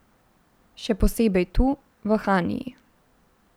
Še posebej tu, v Haniji.